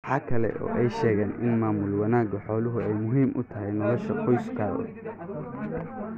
Waxa kale oo ay sheegeen in maamul wanaaga xooluhu ay muhiim u tahay nolosha qoyskooda.